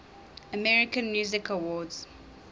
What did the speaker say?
american music awards